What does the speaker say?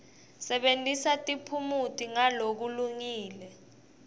sebentisa tiphumuti ngalokulungile